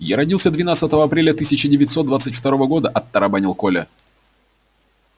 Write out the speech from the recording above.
я родился двенадцатого апреля тысяча девятьсот двадцать второго года отбарабанил коля